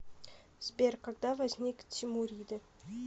сбер когда возник тимуриды